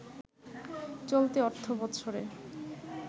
চলতি অর্থবছরে